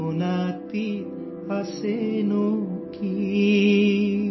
کمہار دادا جھولا لے کر آئے ہیں،